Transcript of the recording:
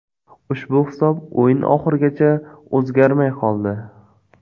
Ushbu hisob o‘yin oxirigacha o‘zgarmay qoldi.